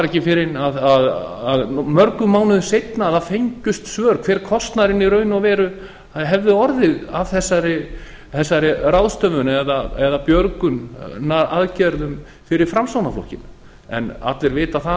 ekki fyrr en mörgum mánuðum seinna að það fengust svör hver kostnaðurinn í raun og veru hefði orðið af þessari ráðstöfun eða björgunaraðgerðum fyrir framsóknarflokkinn en allir vita það